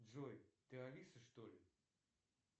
джой ты алиса что ли